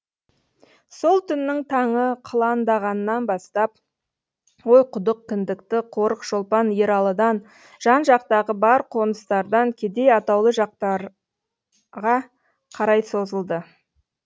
сол түннің таңы қыландағаннан бастап ойқұдық кіндікті қорық шолпан ералыдан жан жақтағы бар қоныстардан кедей атаулы жатақтарға қарай созылды